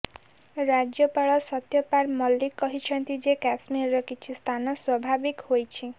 ରାଜ୍ୟପାଳ ସତ୍ୟପାଲ ମଲିକ୍ କହିଛନ୍ତି ଯେ କାଶ୍ମୀରର କିଛି ସ୍ଥାନ ସ୍ୱାଭାବିକ ହେଉଛି